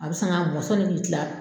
A bɛ san ka ni kila